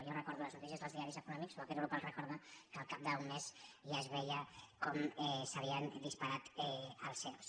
jo recordo les notícies dels diaris econò·mics o aquest grup les recorda que al cap d’un mes ja es veia com s’havien disparat els ero